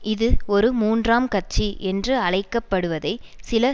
இது ஒரு மூன்றாம் கட்சி என்று அழைக்க படுவதை சில